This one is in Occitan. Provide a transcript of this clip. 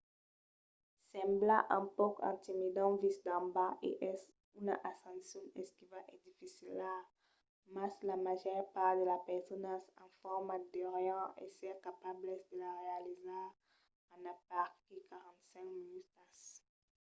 sembla un pauc intimidant vist d'en bas e es una ascension esquiva e dificila mas la màger part de las personas en forma deurián èsser capablas de la realizar en aperaquí 45 minutas